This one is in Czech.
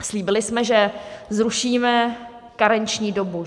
Slíbili jsme, že zrušíme karenční dobu.